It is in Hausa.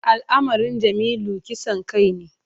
Al’amarin Jamilu kisan kai ne.